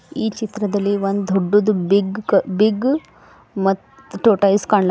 ಈ ಚಿತ್ರದಲ್ಲಿ ಒಂದು ದೊಡ್ಡದು ಬಿಗ್ ಬಿಗ್ ಮತ್ ಟಾರ್ಟಾಯಿಸ್ ಕನ್ಲಾತ್ತೈತಿ.